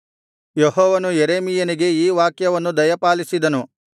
ಯೆಹೋವನು ಯೆರೆಮೀಯನಿಗೆ ಈ ವಾಕ್ಯವನ್ನು ದಯಪಾಲಿಸಿದನು